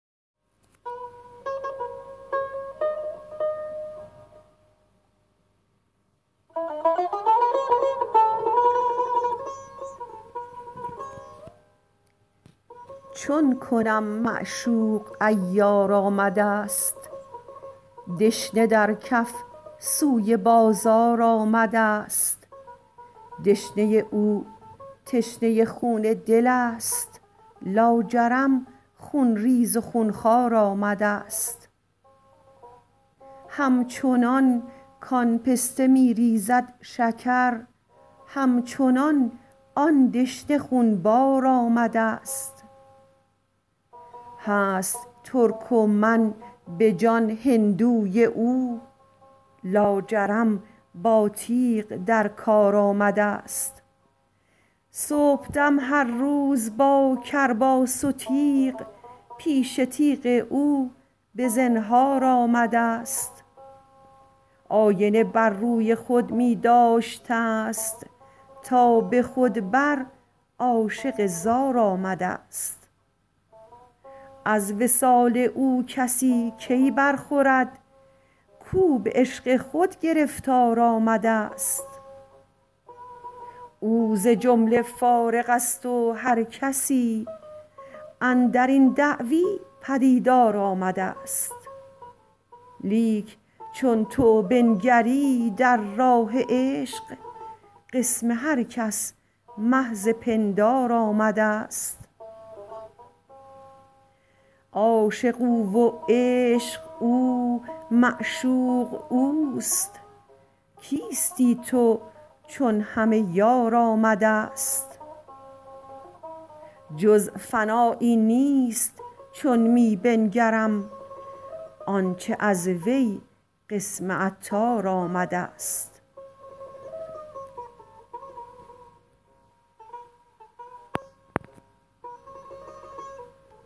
چون کنم معشوق عیار آمدست دشنه در کف سوی بازار آمدست دشنه او تشنه خون دل است لاجرم خونریز و خونخوار آمدست همچنان کان پسته می ریزد شکر همچنان آن دشنه خونبار آمدست هست ترک و من به جان هندوی او لاجرم با تیغ در کار آمدست صبحدم هر روز با کرباس و تیغ پیش تیغ او به زنهار آمدست آینه بر روی خود می داشتست تا به خود بر عاشق زار آمدست از وصال او کسی کی برخورد کو به عشق خود گرفتار آمدست او ز جمله فارغ است و هر کسی اندرین دعوی پدیدار آمدست لیک چون تو بنگری در راه عشق قسم هر کس محض پندار آمدست عاشق او و عشق او معشوقه اوست کیستی تو چون همه یار آمدست جز فنایی نیست چون می بنگرم آنچه از وی قسم عطار آمدست